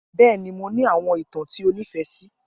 Bẹẹni, Mo ni awọn itan ti o nifẹ si.